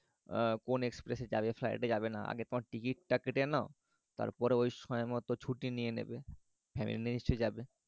আহ কোন express এ যাবে flight এ যাবে না আগে তোমার টিকিট টা কেটে নাও তারপরে ঐ সময়মত ছুটি নিয়ে নেবে family নিয়েই নিশ্চই যাবে